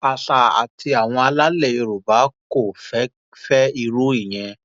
ásà àti àwọn alálẹ yorùbá kò fẹ fẹ irú ìyẹn